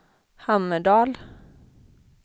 Hammerdal